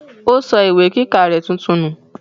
ó sọ ìwé kíkà rẹ̀ tuntun nù.